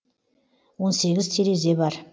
он сегіз терезе бар